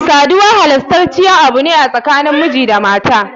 Sadiwa halastaciyar Abu ne tsakanin miji da Maya.